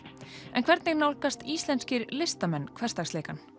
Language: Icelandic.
en hvernig nálgast íslenskir listamenn hversdagsleikann